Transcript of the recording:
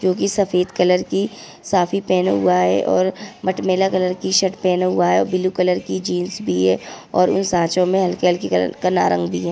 जो की सफ़ेद कलर की साफी पहना हुआ है और मटमैला कलर की शर्ट पहना हुआ है ब्लू कलर की जीन्स भी है और इन सांचो में हलकी-हलकी कलर कला रंग भी है।